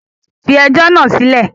Fi ẹjọ́ náà sílẹ̀!